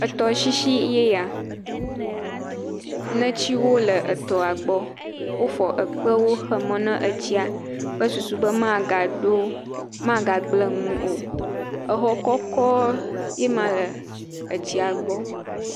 Etɔshishi ye ya. Netsiwo le etɔa gbɔ. Wofɔ ekpewo ƒo xe mɔ ne estia kple susu be magado, magagble nu o. Exɔ kɔkɔ ye ma le exɔa gbɔ.